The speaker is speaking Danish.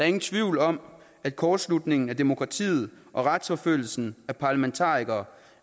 ingen tvivl om at kortslutningen af demokratiet og retsforfølgelsen af parlamentarikere